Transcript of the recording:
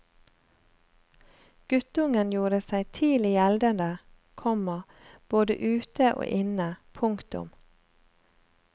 Guttungen gjorde seg tidlig gjeldende, komma både ute og inne. punktum